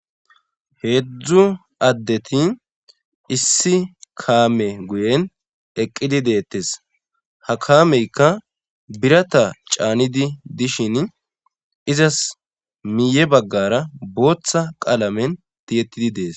Heezzu addeti issi kaame guyen eqqidi deettes. Ha kaameyika birata caanidi dishin izas miye baggara booththa qaalamen tiyettidi dees.